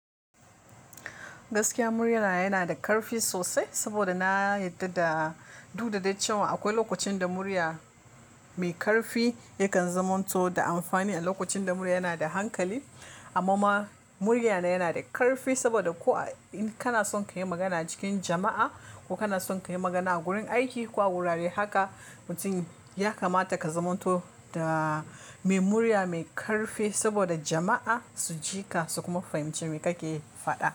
Gaskiya murya na yana da ƙarfi sosai saboda na yarda da duk da dai cewa akwai lokacin da murya mai ƙarfi yakan zamanto da amfani a lokacin da murya yana da hankali. Amma ma murya na yana da ƙarfi saboda ko in kana son ka yi magana cikin jama'a ko kana son ka yi magana a wurin aiki ko a wurare haka mutum ya kamata ka zamanto da mai murya mai ƙarfi saboda jama'a su ji ka su kuma fahimci me kake faɗa.